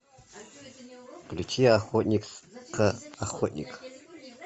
включи охотник ка охотник